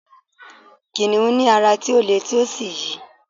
kìnìún ní ara ti o le ti o sí yi